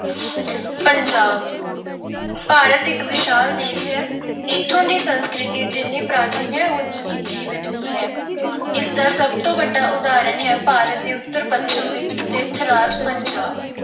ਪੰਜਾਬ ਭਾਰਤ ਇੱਕ ਵਿਸ਼ਾਲ ਦੇਸ਼ ਹੈ। ਇੱਥੋਂ ਦੀ ਸੰਸਕ੍ਰਿਤੀ ਜਿੰਨ੍ਹੀਂ ਪ੍ਰਾਚੀਨ ਹੈ ਉਹਨੀ ਹੀ ਜੀਵੰਤ ਵੀ ਹੈ। ਇਸ ਦਾ ਸਭ ਤੋਂ ਵੱਡਾ ਉਦਾਹਰਣ ਹੈ ਭਾਰਤ ਦੇ ਉੱਤਰ-ਪੱਛਮ ਵਿੱਚ ਸਥਿਤ ਰਾਜ ਪੰਜਾਬ।